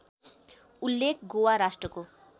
उल्लेख गोवा राष्ट्रको